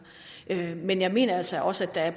men jeg mener altså også at